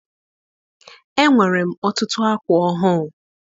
Enwere m ọtụtụ akwa ọhụụ.